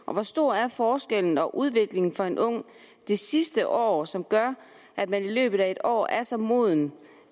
og hvor stor er forskellen og udviklingen for en ung det sidste år som gør at man i løbet af en år er så moden